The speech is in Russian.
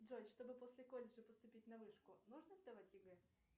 джой чтобы после колледжа поступить на вышку нужно сдавать егэ